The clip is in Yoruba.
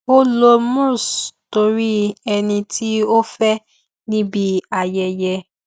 ó lo mousse torí ẹni tí ó fẹ níbi ayẹyẹ